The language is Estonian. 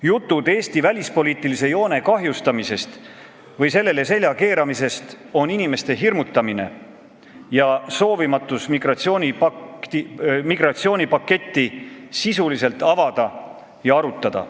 Jutud Eesti välispoliitilise joone kahjustamisest või sellele selja keeramisest on inimeste hirmutamine ja soovimatus migratsioonipakti sisuliselt avada ja arutada.